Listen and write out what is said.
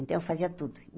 Então, eu fazia tudo.